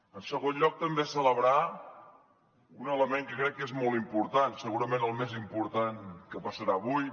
en segon lloc també celebrar un element que crec que és molt important segurament el més important que passarà avui